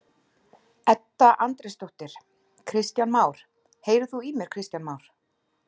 Edda Andrésdóttir: Kristján Már, heyrir þú í mér Kristján Már?